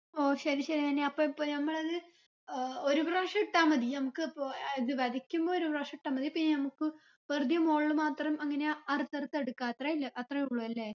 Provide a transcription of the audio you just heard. ഓ ശരി ശരി നനി അപ്പൊ ഇപ്പൊ നമ്മളത് ഏർ ഒരു പ്രാവിശ്യം ഇട്ട മതി നമ്മക്ക് ഇപ്പൊ അഹ് ഇത് വെതയ്ക്കുമ്പോ ഒരു പ്രാവിശ്യം ഇട്ട മതി പിന്നെ നമ്മക്ക് വെറുതെ മോൾൽ മാത്രം അങ്ങനെ അറുത്തറുത്ത് എടുക്ക അത്രായിനല് അത്രാ ഉള്ളു അല്ലെ